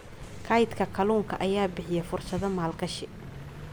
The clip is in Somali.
Kaydka kalluunka ayaa bixiya fursado maalgashi.